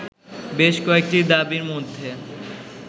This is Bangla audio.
বেশ কয়েকটি দাবীর মধ্যে